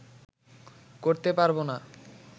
করতে পারবো না